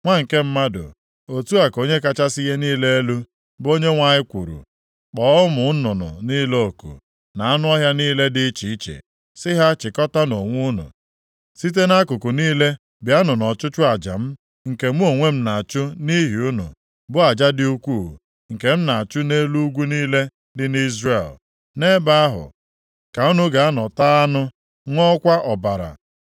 “Nwa nke mmadụ, otu a ka Onye kachasị ihe niile elu, bụ Onyenwe anyị kwuru, kpọọ ụmụ nnụnụ niile oku, na anụ ọhịa niile dị iche iche, sị ha, ‘Chịkọtaanụ onwe unu, site nʼakụkụ niile bịanụ nʼọchụchụ aja m, nke mụ onwe m na-achụ nʼihi unu, bụ aja dị ukwuu nke m na-achụ nʼelu ugwu niile dị nʼIzrel. Nʼebe ahụ ka unu ga-anọ taa anụ, ṅụọkwa ọbara.